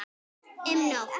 Um nótt